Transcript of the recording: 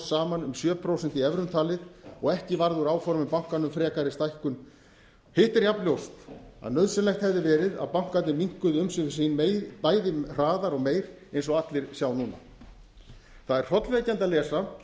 saman um sjö prósent í evrum talið og ekki varð úr áformum bankanna um frekari stækkun hitt er jafnljóst að nauðsynlegt hefði verið að bankarnir minnkuðu umsvif sín bæði hraðar og meir eins og allir sjá núna það er hrollvekjandi að lesa